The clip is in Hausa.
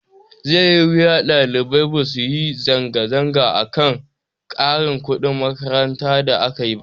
Zai yi wuya ɗalibai basu yi zanga zanga ba akan ƙarin kuɗin makaranta da akayi.